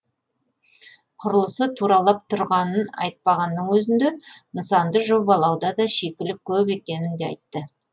құрылысы тұралап тұрғанын айтпағанның өзінде нысанды жобалауда да шикілік көп екенін де айтты